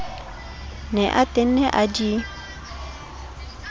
ne a tenne a di